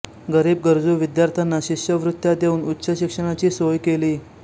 गरीब गरजू विद्यार्थ्यांना शिष्यवृत्त्या देऊन उच्च शिक्षणाची सोय केली